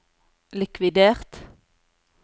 likvidert